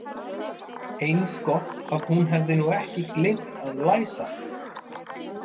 Eins gott að hún hefði nú ekki gleymt að læsa.